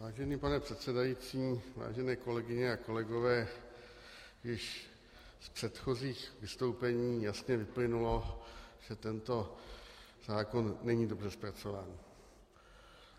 Vážený pane předsedající, vážené kolegyně a kolegové, již z předchozích vystoupení jasně vyplynulo, že tento zákon není dobře zpracován.